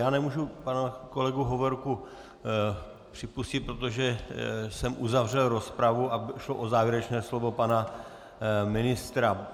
Já nemůžu pana kolegu Hovorku připustit, protože jsem uzavřel rozpravu a šlo o závěrečné slovo pana ministra.